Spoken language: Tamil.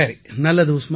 நல்லது உஸ்மான்